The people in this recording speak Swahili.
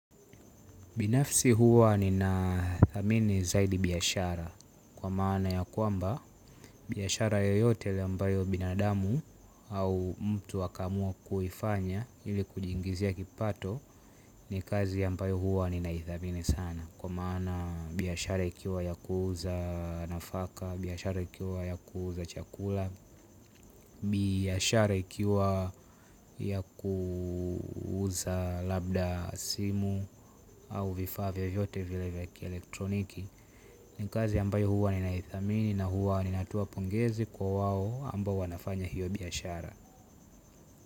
Binafsi huwa ni na thamini zaidi biashara, kwa maana ya kwamba, biashara yoyote ambayo binadamu, au mtu aka amua kuifanya ili kujiingizia kipato, ni kazi ambayo huwa nina ithamini sana. Kwa maana, biashara ikiwa ya kuuza nafaka, biashara ikiwa ya kuuza chakula, biashara ikiwa, ya kuuza labda simu, au vifaa vyovyote vile vya kielektroniki. Ni kazi ambayo huwa nina ithamini na huwa nina toa pongezi kwa wao ambao wanafanya hiyo biashara.